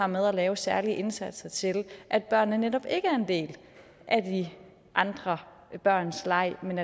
med at lave særlige indsatser til at børnene netop ikke er en del af de andre børns leg men